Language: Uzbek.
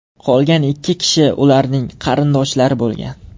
Qolgan ikki kishi ularning qarindoshlari bo‘lgan.